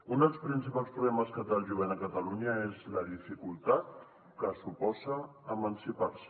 un dels principals problemes que té el jovent a catalunya és la dificultat que suposa emancipar se